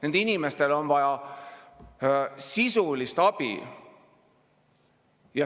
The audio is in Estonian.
Nendel inimestel on vaja sisulist abi.